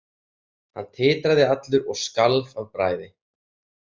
Hann titraði allur og skalf af bræði.